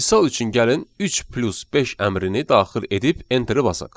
Misal üçün gəlin 3 + 5 əmrini daxil edib enteri basaq.